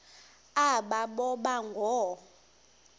aba boba ngoo